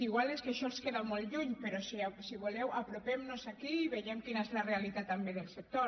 igual és que això els queda molt lluny però si voleu apropem nos aquí i veiem quina és la realitat també del sector